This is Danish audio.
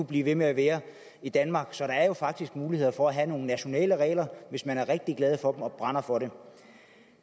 blive ved med at være i danmark så der er faktisk mulighed for at have nogle nationale regler hvis man er rigtig glad for dem og brænder for dem